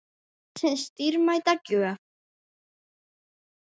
Lífsins dýrmæta gjöf.